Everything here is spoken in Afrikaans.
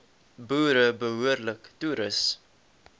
boere behoorlik toerus